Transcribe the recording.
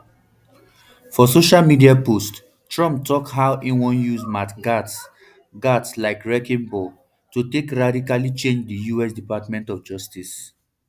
for social media post trump tok how e wan use matt gaetz gaetz like wrecking ball to take radically change di us department of justice